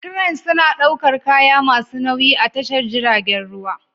Cranes suna ɗaukar kaya masu nauyi a tashar jiragen ruwa